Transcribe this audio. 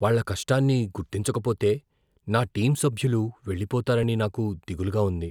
వాళ్ళ కష్టాన్ని గుర్తించకపోతే నా టీమ్ సభ్యులు వెళ్లిపోతారని నాకు దిగులుగా ఉంది.